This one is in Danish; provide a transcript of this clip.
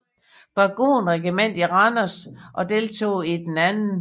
Dragonregiment i Randers og deltog i den 2